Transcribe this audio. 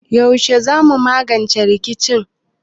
Yaushe zamu magance rikicin?